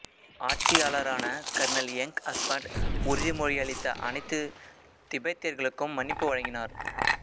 ஆட்சியாளரான Colonel Younghusband உறுதிமொழியளித்த அனைத்து திபெத்தியர்களுக்கும் மன்னிப்பு வழங்கினார்